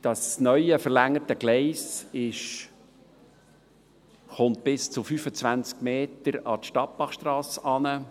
Das neue verlängerte Gleis kommt bis 25 Meter an die Stadtbachstrasse heran.